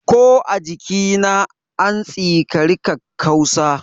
Ko a jikina, an tsikari kakkausa.